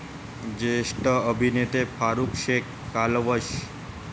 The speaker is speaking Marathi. ज्येष्ठ अभिनेते फारुख शेख कालवश